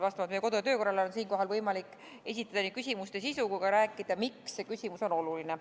Vastavalt meie kodu- ja töökorrale on siinkohal võimalik nii esitada küsimuste sisu kui ka rääkida, miks see küsimus on oluline.